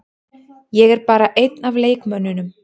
Ég er bara einn af leikmönnunum.